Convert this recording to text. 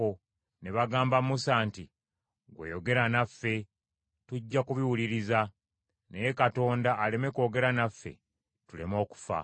ne bagamba Musa nti, “Ggwe yogera naffe, tujja kubiwuliriza. Naye Katonda aleme kwogera naffe tuleme okufa.”